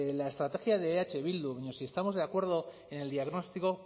la estrategia de eh bildu pero si estamos de acuerdo en el diagnóstico